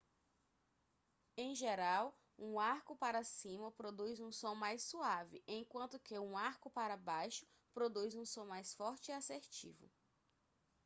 em geral um arco para cima produz um som mais suave enquanto que um arco para baixo produz um som mais forte e assertivo